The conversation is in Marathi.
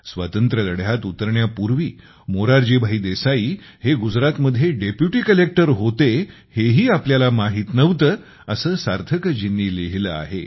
स्वातंत्र्यलढ्यात उतरण्यापूर्वी मोरारजीभाई देसाई हे गुजरातमध्ये डेप्युटी कलेक्टर होते हेही आपल्याला माहीत नव्हते असे सार्थकजींनी लिहिले आहे